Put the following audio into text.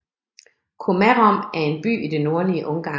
Komárom er en by i det nordlige Ungarn